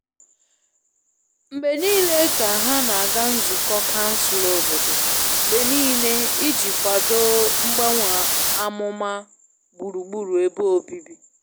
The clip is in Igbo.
Mgbe nile ka ha na aga nzukọ kansụl obodo mgbe niile iji kwado mgbanwe amụma gburugburu ebe obibi